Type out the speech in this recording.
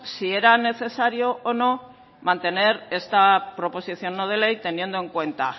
si era necesario o no mantener esta proposición no de ley teniendo en cuenta